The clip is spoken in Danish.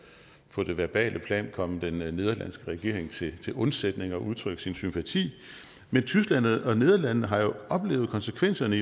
på det verbale plan at komme den nederlandske regering til til undsætning og udtrykke sin sympati men tyskland og nederlandene har jo i år oplevet konsekvenserne